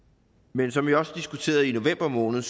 men som vi også diskuterede i november måned